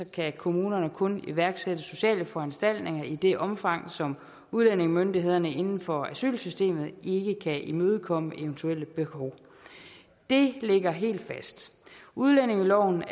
kan kommunerne kun iværksætte sociale foranstaltninger i det omfang som udlændingemyndighederne inden for asylsystemet ikke kan imødekomme eventuelle behov det ligger helt fast udlændingeloven